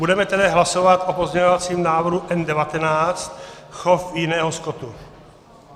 Budeme tedy hlasovat o pozměňovacím návrhu N19 - chov jiného skotu.